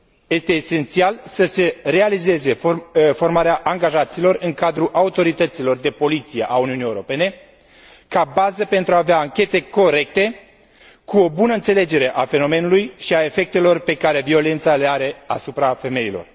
Este esențial să se realizeze formarea angajaților în cadrul autorităților de poliție ale Uniunii Europene, ca bază pentru a avea anchete corecte, cu o bună înțelegere a fenomenului și a efectelor pe care violența le are asupra femeilor.